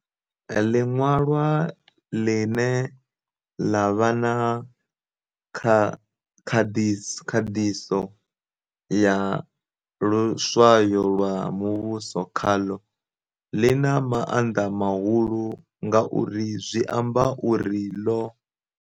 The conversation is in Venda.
Liṅwalwa ḽine ḽa vha na khanḓiso ya luswayo lwa muvhuso khaḽo, ḽi na maanḓa mahulu ngauri zwi amba uri ḽo